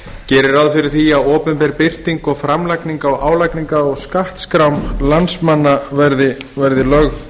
gerir ráð fyrir því að opinber birting og framlagning álagningar á skattskrám landsmanna verði lögð